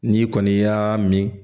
N'i kɔni y'a min